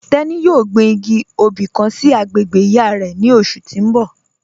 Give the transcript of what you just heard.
Tẹni yọ̀ọ́ gbìn igì obì kàn sí agbègbè iyá rẹ̀ ni ọṣù tì n bọ̀.